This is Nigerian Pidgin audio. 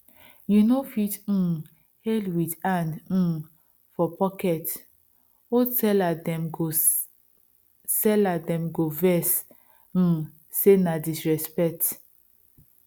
you no fit um hail with hand um for pocket old seller dem go seller dem go vex um say na disrespect